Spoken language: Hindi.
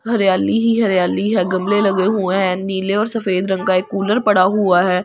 हरियाली ही हरियाली है गमले लगे हुए हैं नीले और सफेद रंग का एक कूलर पड़ा हुआ है उसके पा ।